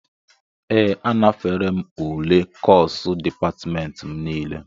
Ee, anafere m ule kọsu dịpatmentị m nile